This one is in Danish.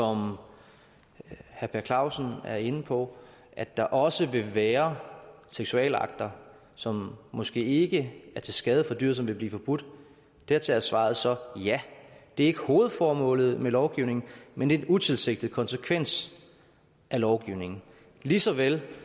herre per clausen er inde på at der også vil være seksualakter som måske ikke er til skade for dyret men som vil blive forbudt dertil er svaret så ja det er ikke hovedformålet med lovgivningen men en utilsigtet konsekvens af lovgivningen ligeså vel